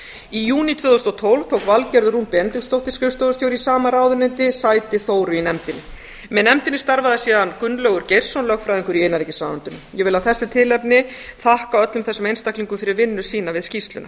í júní tvö þúsund og tólf tók valgerður rún benediktsdóttir skrifstofustjóri í sama ráðuneyti sæti þóru í nefndinni með nefndinni starfaði gunnlaugur geirsson lögfræðingur í innanríkisráðuneytinu ég vil af þessu tilefni þakka öllum þessum einstaklingum fyrir vinnu sína við skýrsluna